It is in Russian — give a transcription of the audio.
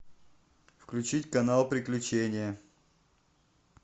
включить канал приключения